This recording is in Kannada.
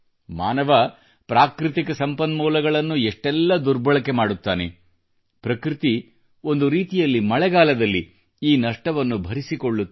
ಮಾನವ ಪ್ರಾಕೃತಿಕ ಸಂಪನ್ಮೂಲಗಳನ್ನು ಎಷ್ಟೆಲ್ಲ ದುರ್ಬಳಕೆ ಮಾಡುತ್ತಾನೆ ಪ್ರಕೃತಿ ಒಂದು ರೀತಿಯಲ್ಲಿ ಮಳೆಗಾಲದಲ್ಲಿ ಈ ನಷ್ಟವನ್ನು ಭರಿಸಿಕೊಳ್ಳುತ್ತದೆ